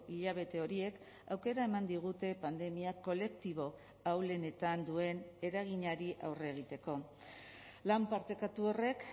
hilabete horiek aukera eman digute pandemia kolektibo ahulenetan duen eraginari aurre egiteko lan partekatu horrek